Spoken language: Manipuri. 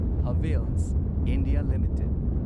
Havells India limited